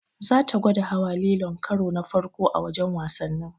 Zata gwada hawa lilon karo na farko a wajen wasannin.